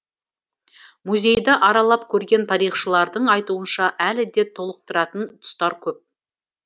музейді аралап көрген тарихшылардың айтуынша әлі де толықтыратын тұстары көп